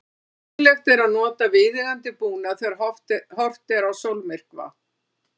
Nauðsynlegt er að nota viðeigandi búnað þegar horft er á sólmyrkva.